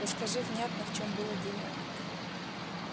расскажи внятно в чем было дело